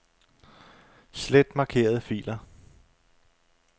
Slet markerede filer.